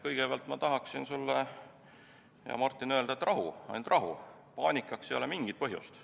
Kõigepealt ma tahaksin sulle, Martin, öelda, et rahu, ainult rahu, paanikaks ei ole mingit põhjust.